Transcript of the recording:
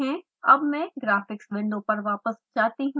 अब मैं graphics window पर वापस जाती हूँ